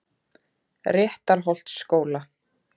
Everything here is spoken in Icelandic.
Réttarholtsskóla